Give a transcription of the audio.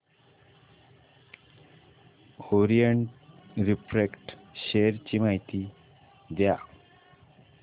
Orient Refract share ची माहिती द्या